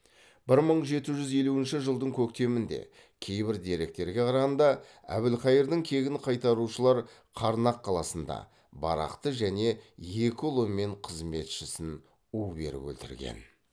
бір мың жеті жүз елуінші жылдың көктемінде кейбір деректерге қарағанда әбілқайырдың кегін қайтарушылар қарнақ қаласында барақты және екі ұлы мен қызметшісін у беріп өлтірген